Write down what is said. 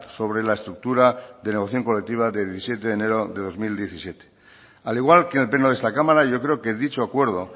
sobre la estructura de negociación colectiva de diecisiete de enero de dos mil diecisiete al igual que en el pleno de esta cámara yo creo que dicho acuerdo